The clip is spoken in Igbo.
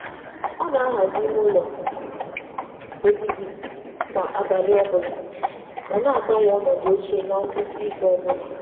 Ọ na-ahazi ime ụlọ obibi kwa abalị, ma na-agbanwe ọdụ oche kwa ngwụsị izu.